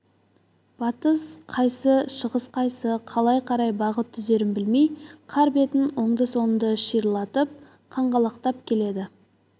батыс қайсы шығыс қайсы қалай қарай бағыт түзерін білмей қар бетін оңды-солды шиырлап қаңғалақтап келеді